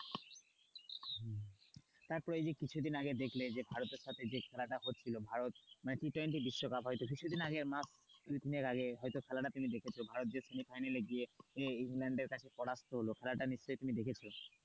তারপর এই যে কিছুদিন আগে দেখলে যে ভারতের সাথে যে খেলা টা হচ্ছিলো মানে টি টোয়েন্টি বিশ্বকাপ হয়তো কিছুদিন আগে তুমি এর আগে খেলাটা হয়তো দেখেছো ভারত সেমিফাইনালে গিয়ে ইংল্যান্ড এর কাছে পরাজিত হল খেলাটা নিশ্চয়ই দেখেছো,